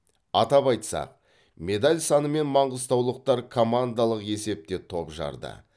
атап айтсақ медаль санымен маңғыстаулықтар командалық есепте топ жарды